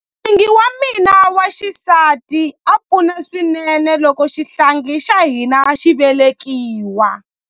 N'wingi wa mina wa xisati a pfuna swinene loko xihlangi xa hina xi velekiwa.